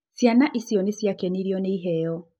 Ciana icio nĩ ciakenirio nĩ iheo.